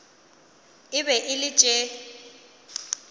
e be e le tše